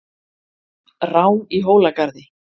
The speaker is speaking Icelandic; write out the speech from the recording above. Rán í Hólagarði